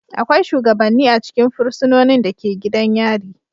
Akwai shugabanni a cikin fursunonin da ke gidan yari.